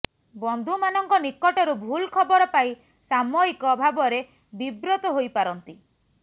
ବନ୍ଧୁମାନଙ୍କ ନିକଟରୁ ଭୁଲ୍ ଖବର ପାଇ ସାମୟିକ ଭାବରେ ବିବ୍ରତ ହୋଇପାରନ୍ତି